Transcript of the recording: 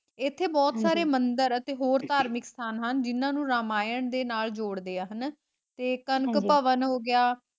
ਇੱਥੇ ਬਹੁਤ ਸਾਰੇ ਮੰਦਿਰ ਹੈ ਤੇ ਹੋਰ ਧਾਰਮਿਕ ਸਥਾਨ ਹਨ ਜਿਨ੍ਹਾਂ ਨੂੰ ਰਾਮਾਇਣ ਦੇ ਨਾਲ ਜੋੜਦੇ ਹੈ ਹਨਾ ਤੇ ਕਣਕ ਭਵਨ ਹੋਗਿਆ